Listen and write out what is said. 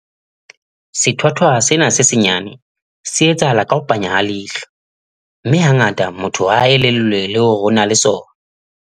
Sethwathwa sena se senyane, se etsahala ka ho panya ha leihlo, mme hangata motho ha a elellwe le hore o na le sona.